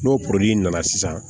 N'o porori nana sisan